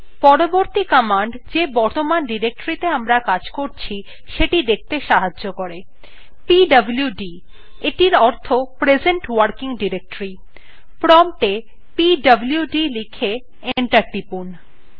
পরবর্তী command the বর্তমান directorythe আমরা কাজ করছি সেটি দেখতে সাহায্য করে pwd অর্থে present working deroctory বোঝায় প্রম্পটwe pwd লিখে enter টিপুন